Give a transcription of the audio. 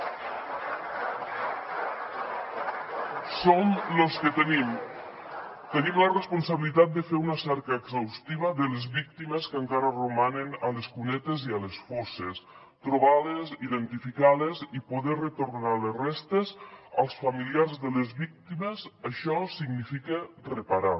som los que tenim la responsabilitat de fer una cerca exhaustiva de les víctimes que encara romanen a les cunetes i a les fosses trobar les identificar les i poder retornar les restes als familiars de les víctimes això significa reparar